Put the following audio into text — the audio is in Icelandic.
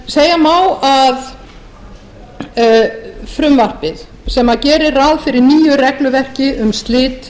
segja má að frumvarpið sem gerir ráð fyrir nýju regluverki um slit